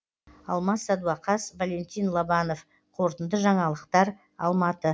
алмас садуақас валентин лобанов қорытынды жаңалықтар алматы